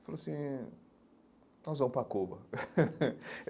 Ele falou assim, nós vamos para a Cuba.